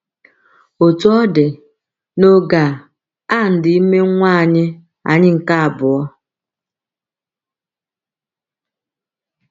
Otú ọ dị, n’oge a, Ann dị ime nwa anyị anyị nke abụọ.